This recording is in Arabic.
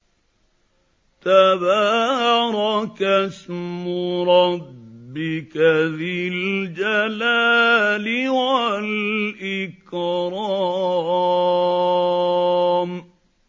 تَبَارَكَ اسْمُ رَبِّكَ ذِي الْجَلَالِ وَالْإِكْرَامِ